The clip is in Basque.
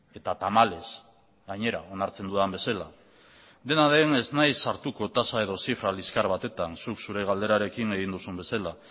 eta tamalez gainera onartzen dudan bezala dena den ez naiz sartuko tasa edo zifra liskar batetan zuk zure galderarekin egin duzun bezala